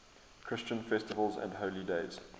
christian festivals and holy days